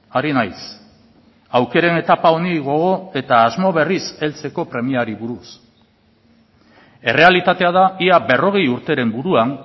ari naiz aukeren etapa honi gogo eta asmo berriz heltzeko premiari buruz errealitatea da ia berrogei urteren buruan